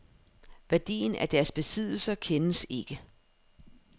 Værdien af deres besiddelser kendes ikke.